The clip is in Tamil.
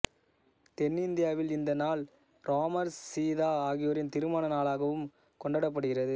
தென்னிந்தியாவில் இந்த நாள் இராமர் சீதா ஆகியோரின் திருமண நாளாகவும் கொண்டாடப்படுகிறது